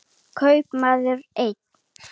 Kaupmaður einn.